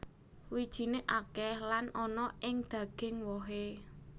Wijiné akèh lan ana ing daging wohé